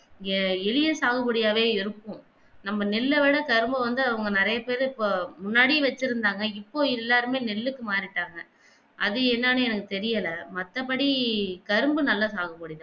ஏன் எலியே சாது போடியாவே இருக்கும் நம்ம நெல்ல விட கரும்ப வந்து அவங்க நெறைய பெரு முன்னாடியே வெச்சிருந்தாங்க இப்போ எல்லாருமே நெல்லுக்கு மாறிட்டாங்க அது என்னானு எனக்கு தெரியல மற்ற படி கரும்பு நல்ல சாது போடி தான்